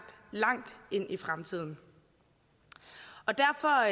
langt ind i fremtiden derfor